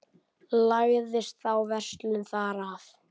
Lagðist þá verslun þar af.